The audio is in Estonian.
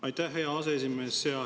Aitäh, hea aseesimees!